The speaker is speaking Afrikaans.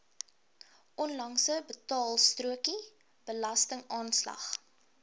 onlangse betaalstrokie belastingaanslag